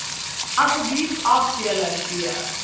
asseblief afdeling b